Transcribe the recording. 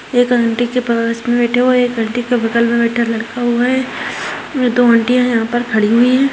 एक आंटी के पास में बैठा हुआ है एक आंटी के बगल में बैठा लड़का हुआ है दो आंटियाँ यहाँ पर खड़ी हुई है।